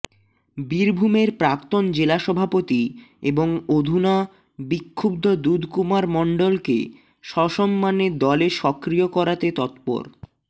বীরভূমের প্রাক্তন জেলা সভাপতি এবং অধুনা বিক্ষুব্ধ দুধকুমার মণ্ডলকে সসম্মানে দলে সক্রিয় করাতে তৎপর